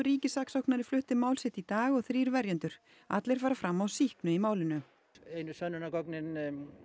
ríkissaksóknari flutti mál sitt í dag og þrír verjendur allir fara fram á sýknu í málinu einu sönnunargögnin